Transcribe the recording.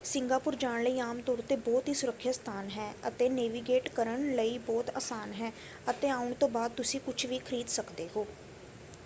Singapore ਜਾਣ ਲਈ ਆਮ ਤੌਰ 'ਤੇ ਬਹੁਤ ਹੀ ਸੁਰੱਖਿਅਤ ਸਥਾਨ ਹੈ ਅਤੇ ਨੇਵੀਗੇਟ ਕਰਨ ਲਈ ਬਹੁਤ ਆਸਾਨ ਹੈ ਅਤੇ ਆਉਣ ਤੋਂ ਬਾਅਦ ਤੁਸੀਂ ਕੁਝ ਵੀ ਖਰੀਦ ਸਕਦੇ ਹੋ।